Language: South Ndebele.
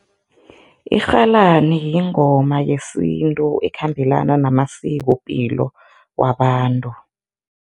Irhalani yingoma yesintu ekhambelana namasikopilo wabantu.